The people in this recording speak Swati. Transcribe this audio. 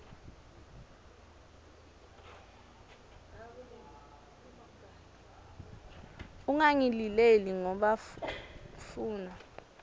ungangilileli ngoba funa